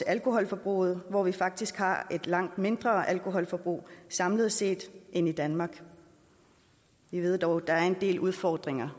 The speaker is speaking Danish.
alkoholforbruget hvor vi faktisk har et langt mindre alkoholforbrug samlet set end i danmark vi ved dog at der stadig er en del udfordringer